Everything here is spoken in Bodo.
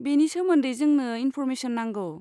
बेनि सोमोन्दै जोंनो इन्फ'रमेसन नांगौ।